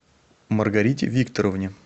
маргарите викторовне